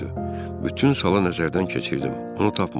Bütün sala nəzərdən keçirdim, onu tapmadım.